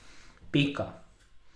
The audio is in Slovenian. Pika.